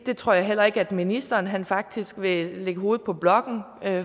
tror jeg heller ikke ministeren faktisk vil lægge hovedet på blokken